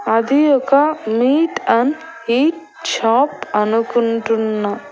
అది ఒక meat and eat shop అనుకుంటున్నా.